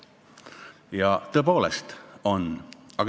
Ja tõepoolest on.